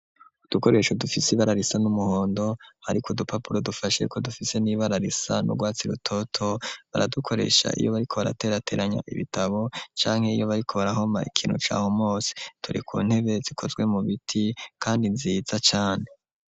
Udukoresho dufise ibararisa n'umuhondo, ariko dupapuro dufasheyuko dufise n'ibararisa n'urwatsi rutoto baradukoresha iyo bari ko baraterateranya ibitabo canke yiyo bariko barahoma ikintu cahu mose ture ku ntebe zikozwe mu biti, kandi nziza cane.